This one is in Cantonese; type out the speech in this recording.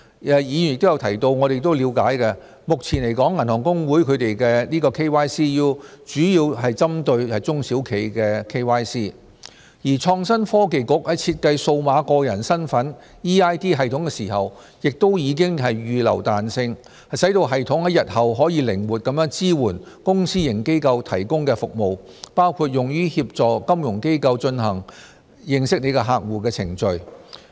議員有提及而我們亦了解，目前來說銀行公會的 KYCU 主要是針對中小企的 KYC， 而創新及科技局在設計數碼個人身份系統時亦預留彈性，使系統在日後可靈活地支援公私營機構提供的服務，包括用於協助金融機構進行"認識你的客戶"的程序。